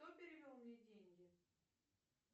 кто перевел мне деньги